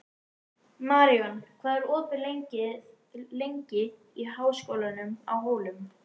Maríon, hvað er opið lengi í Háskólanum á Hólum?